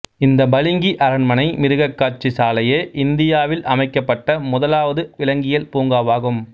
இந்த பளிங்கு அரண்மனை மிருகக்காட்சி சாலையே இந்தியாவில் அமைக்கப்பட்ட முதலாவது விலங்கியல் பூங்காவாகும்